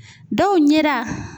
Dɔw ɲɛda.